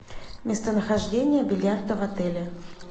местонахождение бильярда в отеле